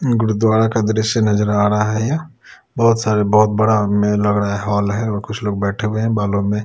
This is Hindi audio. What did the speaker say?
गुरुद्वारा का दृश्य नजर आ रहा है यहां बहोत सारे बहोत बड़ा हॉल है और कुछ लोग बैठे हुए हैं बालों में--